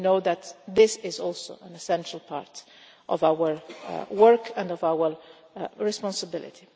We know that this is also an essential part of our work and of our responsibility.